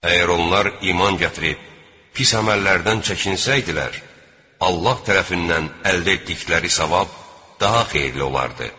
Əgər onlar iman gətirib, pis əməllərdən çəkinsəydilər, Allah tərəfindən əldə etdikləri savab daha xeyirli olardı.